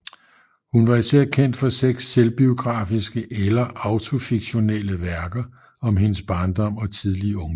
Hun var især kendt for seks selvbiografiske eller autofiktionelle værker om hendes barndom og tidlige ungdom